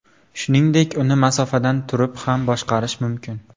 Shuningdek, uni masofadan turib ham boshqarish mumkin.